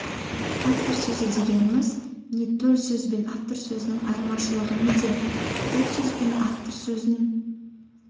автор сөзі дегеніміз не төл сөз бен автор сөзінің айырмашылығы неде төл сөз бен автор сөзін